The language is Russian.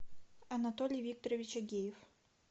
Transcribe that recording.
анатолий викторович агеев